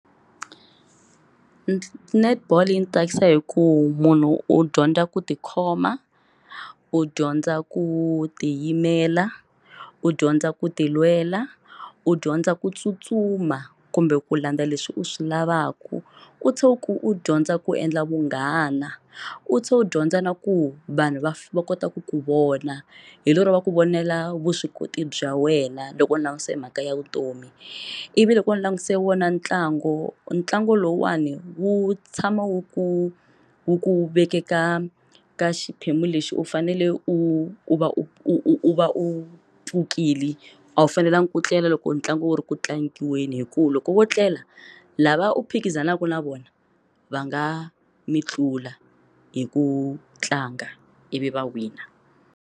Netball yi ni tsakisa hi ku munhu u dyondza ku tikhoma, u dyondza ku tiyimela, u dyondza ku ti lwela, u dyondza ku tsutsuma kumbe ku landza leswi u swi lavaka u tlhe u dyondza ku endla vunghana u tlhe u dyondza na ku vanhu va va kota ku ku vona hi lero va ku vonela vuswikoti bya wena loko u langutise mhaka ya vutomi ivi loko u langutise wona ntlangu ntlangu lowuwani u wu tshama wu ku wu ku vekeka ka xiphemu lexi u fanele u va u va u pfukile a wu fanelanga ku tlela loko ntlangu wu ri ku tlangiweni hikuva loko wo tlela lava u phikizanaka na vona va nga mi tlula hi ku tlanga ivi va wina.